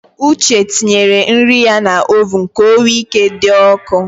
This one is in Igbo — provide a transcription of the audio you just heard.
Uche tinyere nri ya n’oven ka o wee ike dị ọkụ